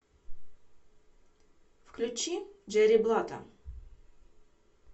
включи джерри блатта